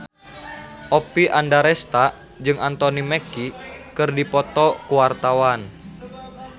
Oppie Andaresta jeung Anthony Mackie keur dipoto ku wartawan